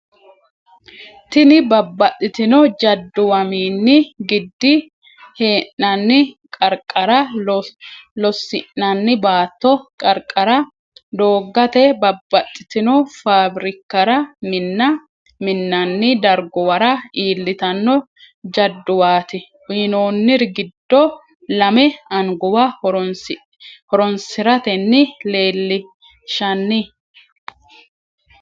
Tini babbaxxitino jadduwamini gid hee’nanni qarqara, loosi’nanni baatto qarqara, dooggate, babbaxxitino faabrikkara, minna minnanni darguwara iillitanno jadduwaati, Uyinoonniri giddo lame anguwa horoonsi’ratenni leellinshanni?